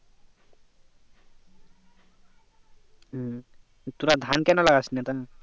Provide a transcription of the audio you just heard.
হম তোরা ধান কেন লাগাস না তা